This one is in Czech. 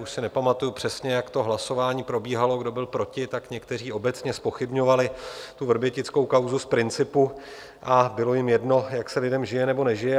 Už si nepamatuji přesně, jak to hlasování probíhalo, kdo byl proti, tak někteří obecně zpochybňovali tu vrbětickou kauzu z principu a bylo jim jedno, jak se lidem žije nebo nežije.